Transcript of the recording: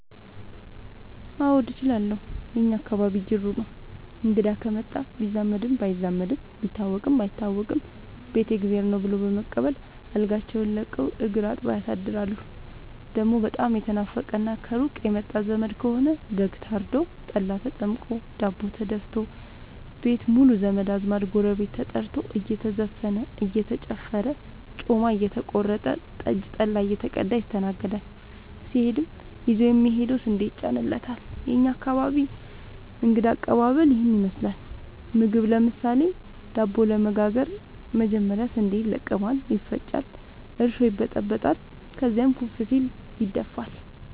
አዎድ እችላለሁ የእኛ አካባቢ ጅሩ ነው። እንግዳ ከመጣ ቢዛመድም ባይዛመድም ቢታወቅም ባይታወቅም ቤት የእግዜር ነው። ብሎ በመቀበል አልጋቸውን ለቀው እግር አጥበው ያሳድራሉ። ደሞ በጣም የተናፈቀና ከሩቅ የመጣ ዘመድ ከሆነ በግ ታርዶ፤ ጠላ ተጠምቆ፤ ዳቦ ተደፋቶ፤ ቤት ሙሉ ዘመድ አዝማድ ጎረቤት ተጠርቶ እየተዘፈነ እየተጨፈረ ጮማ እየተቆረጠ ጠጅ ጠላ እየተቀዳ ይስተናገዳል። ሲሄድም ይዞ የሚሄደው ስንዴ ይጫንለታል። የእኛ አካባቢ እንግዳ ከቀባበል ይህን ይመስላል። ምግብ ለምሳሌ:- ዳቦ ለመጋገር መጀመሪያ ስንዴ ይለቀማል ይፈጫል እርሾ ይበጠበጣል ከዚያም ኩፍ ሲል ይደፋል።